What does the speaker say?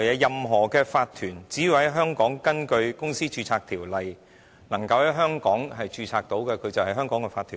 任何法團只要在香港根據相關的註冊條例註冊，便是香港的法團。